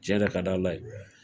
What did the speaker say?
Cɛn de ka di ala ye